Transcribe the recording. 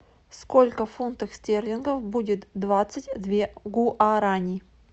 сколько фунтов стерлингов будет двадцать две гуарани